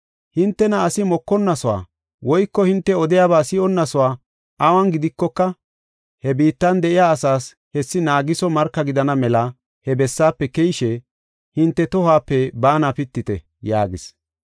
Hintena asi mokonasuwa woyko hinte odiyaba si7onnasuwa awun gidikoka, he biittan de7iya asaas marka gidana mela he bessaafe keyishe, hinte tohuwape baana pitite” yaagis.